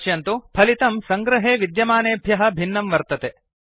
पश्यन्तु फलितं सङ्गृहे विद्यमानेभ्यः भिन्नं वर्तते